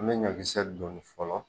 An be ɲɔ kisɛ doni fɔlɔ